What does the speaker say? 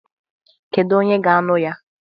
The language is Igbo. Kedu onye ga-ańụ ya?